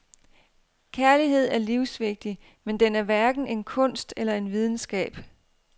Kærlighed er livsvigtig, men den er hverken en kunst eller en videnskab.